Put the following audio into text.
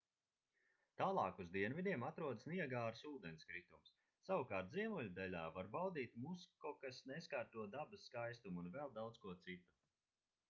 tālāk uz dienvidiem atrodas niagāras ūdenskritums savukārt ziemeļdaļā var baudīt muskokas neskarto dabas skaistumu un vēl daudz ko citu